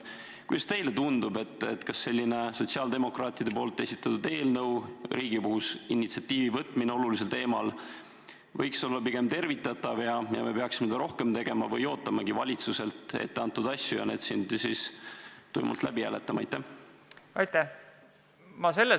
Kuidas teile tundub, kas see sotsiaaldemokraatide esitatud eelnõu, Riigikogus initsiatiivi haaramine olulisel teemal on tervitatav ja me peaksime selliseid asju rohkem tegema või peaksime pigem ootama valitsuse algatusi ja need eelnõud siin tuimalt läbi hääletama?